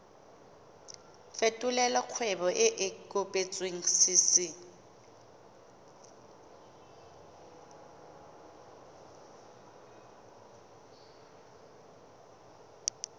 fetolela kgwebo e e kopetswengcc